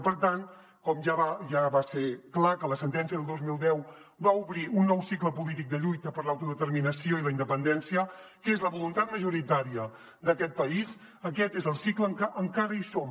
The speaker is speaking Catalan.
i per tant com ja va ser clar que la sentència del dos mil deu va obrir un nou cicle polític de lluita per l’autodeterminació i la independència que és la voluntat majoritària d’aquest país aquest és el cicle en què encara som